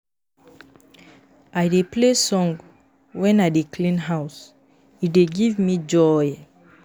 I dey play song wen I dey clean house, e dey give me joy.